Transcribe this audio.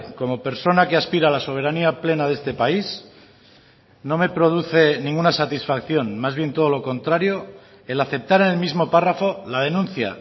como persona que aspira a la soberanía plena de este país no me produce ninguna satisfacción más bien todo lo contrario el aceptar en el mismo párrafo la denuncia